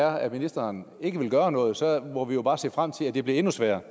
er at ministeren ikke vil gøre noget så må vi jo bare se frem til at det bliver endnu sværere